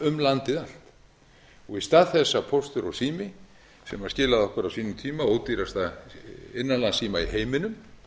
um landið allt í stað þess að póstur og sími sem skilaði okkur á sínum tíma ódýrasta innanlandsíma í heiminum